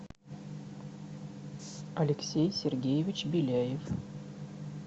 алексей сергеевич беляев